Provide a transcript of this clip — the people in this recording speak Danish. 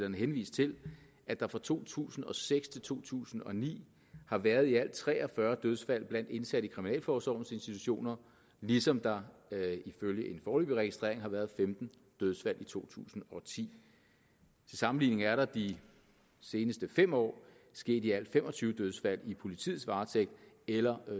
henvist til at der fra to tusind og seks til to tusind og ni har været i alt tre og fyrre dødsfald blandt indsatte i kriminalforsorgens institutioner ligesom der ifølge en foreløbig registrering har været femten dødsfald i to tusind og ti til sammenligning er der de seneste fem år sket i alt fem og tyve dødsfald i politiets varetægt eller